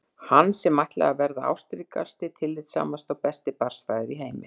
Hann sem ætlaði að verða ástríkasti, tillitssamasti og besti barnsfaðir í heimi!